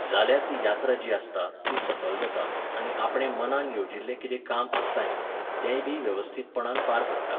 जाल्यार ती यात्रा जी आसता, ती सफल जाता आनी आपणें मनान येवजिल्लें कितें काम आसता न्ही, तेंयबी वेवस्थीतपणान पार पडटा.